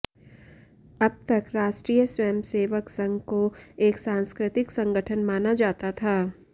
अब तक राष्ट्रीय स्वयंसेवक संघ को एक सांस्कृतिक संगठन माना जाता था